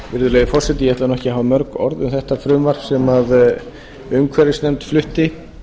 virðulegi forseti ég ætla nú ekki að hafa mörg orð um þetta frumvarp sem umhverfisnefnd flutti